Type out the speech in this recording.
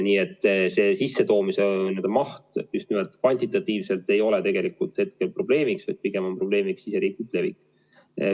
Nii et see sissetoomise maht just nimelt kvantitatiivselt ei ole tegelikult praegu probleemiks, pigem on probleemiks siseriiklik levik.